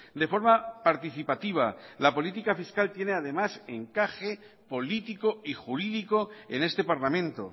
de forma participativa la política fiscal tiene además encaje político y jurídico en este parlamento